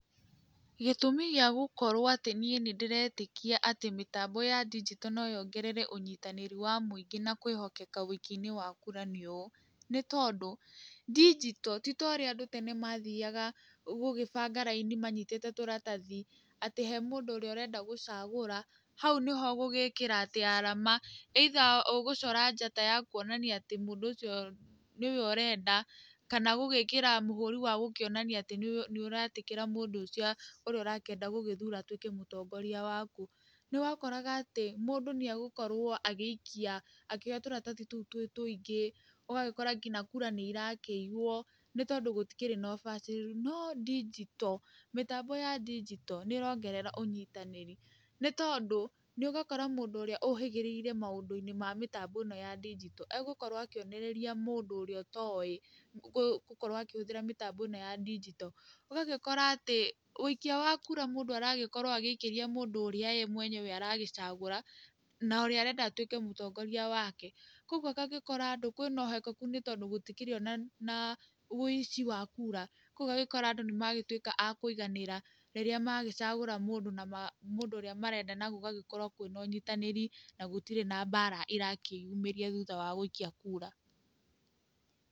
Gĩtũmi gĩa gũkorwo atĩ niĩ nĩ ndĩretĩkia mĩtambo ya ndigito no yongerere ũnyitanĩri wa mũingĩ na kwĩhokeka ũikia-inĩ wa kũra nĩ ũũ: Nĩ tondũ ndigito ti ta ũrĩa tene andũ mathiaga gũgĩbanga raini manyitĩte tũratathi. Atĩ he mũndũ ũrĩa ũrenda gũcagũra hau nĩho ũgũgĩkĩra atĩ alama, either ũgũcora njata ya kuonania atĩ mũndũ ũcio nĩwe ũrenda, kana gũgĩkĩra mũhũri wa gũkĩonania atĩ nĩ ũretĩkĩra mũndũ ũcio ũrĩa ũrakĩenda gũgĩthura atuĩke mũtongoria waku. Nĩ wakoraga atĩ mũndũ nĩ egũkorwo agĩikia akĩoya tũratathi tũu twĩ tũingĩ, ũgagĩkora nginya kura nĩ irakĩiywo nĩ tondũ gũtikĩrĩ na ũbacĩrĩri. No ndigito, mĩtambo ya ndigito nĩ ĩrongerera ũnyitanĩri. Nĩ tondũ nĩ ũgakora mũndũ ũrĩa ũũhĩgĩrĩire maũndũ-inĩ ma mĩtambo ĩno ya ndigito egũkorwo akĩonereria mũndũ ũrĩa ũtoĩ gũkorwo akĩhũthĩra mĩtambo ĩno ya ndigito. Ũgagĩkora atĩ ũikia wa kura mũndũ aragĩkorwo o agĩikĩria mũndũ ũrĩa ye mwenyewe aragĩcagũra na ũrĩa arenda atuĩke mũtongoria wake. Kwoguo agagĩkora andũ kwĩna uhokeku nĩ tondũ gũtikĩrĩ ona ũici wa kura. Koguo ũgagĩkora andũ nĩ magĩtuĩka a kũiganĩra rĩrĩa magĩcagũra mũndũ ũrĩa marenda na gũgagĩkorwo kwĩna ũnyitanĩri, na gũtirĩ na mbara ĩrakĩyumĩria thutha wa gũikia kura.